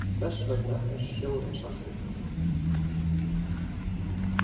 Þess vegna er sjórinn saltur.